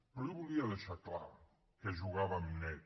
però jo volia deixar clar que jugàvem net